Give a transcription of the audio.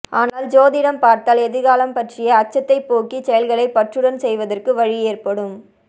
ஆனால் சோதிடம் பார்த்தால் எதிர்காலம் பற்றிய அச்சத்தைப் போக்கி செயல்களை பற்றுடன் செய்வதற்கு வழி ஏற்படும்